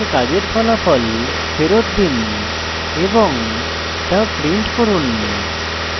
arguments কাজের ফলাফল ফেরত দিন এবং তা print করুন